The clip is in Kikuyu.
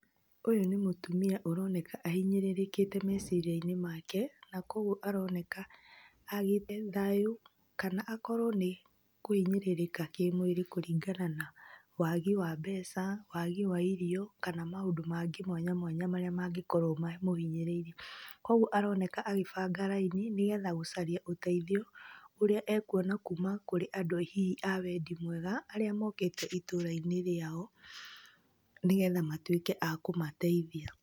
Ũyũ nĩ mũtimia ũroneka ahinyĩrĩrĩkĩte meciria-inĩ make, na kũguo aroneka agĩte thayũ, kana akorwo nĩ kũhinyĩrĩrĩka kĩmwĩrĩ kũringana na wagi wa mbeca, wagi wa irio kana maũndũ mangĩ mwanya mwanya marĩa mangĩkorwo mamũhinyĩrĩirie. Kũguo aroneka agĩbanga raini, nĩgetha gũcaria ũteithio ũrĩa ekuona kuma kũrĩ andũ hihi a wendi mwega, arĩa mokĩte itũra-inĩ rĩao, nĩgetha matuĩke a kũmateithia.